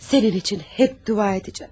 Sənin üçün həmişə dua edəcəyəm.